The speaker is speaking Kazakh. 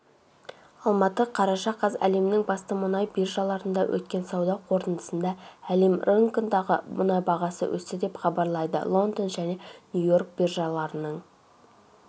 алматы қараша қаз әлемнің басты мұнай биржаларында өткен сауда қортындысында әлем рыногындағы мұнай бағасы өсті деп хабарлайды лондон және нью-йорк биржаларының